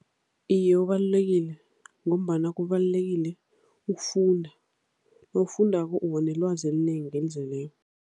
Iye, ubalulekile ngombana kubalulekile ukufunda, nabafundako ubanelwazi elinengi, elizeleko.